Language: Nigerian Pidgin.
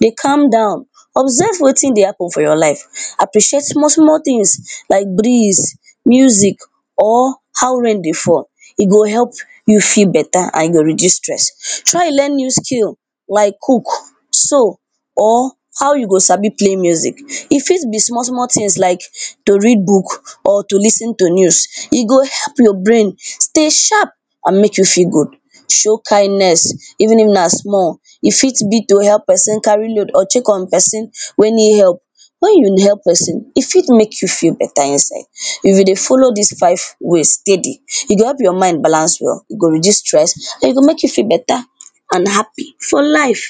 dey calm down observe wetin dey happen for your life appreciate small small tin like breeze, music or how rain dey fall e go help you feel better and e go reduce stress. Try learn new skill like cook, sew or how you go sabi play music e fit be small small tins like to read book or to lis ten to news e go help your brain stay sharp and make you feel good, show kindness even If na small you fit be to help pesin carry load or to check on pesin wey need help wen you help pesin e fit make your feel better inside if you dey follow dis five ways steady e go help your mind balance well e go reduce stress and e go make you feel better and happy for life.